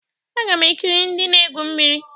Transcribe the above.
Aga m ekiri ndị na-egwu mmiri.